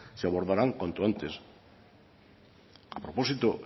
se abordarán cuanto antes a propósito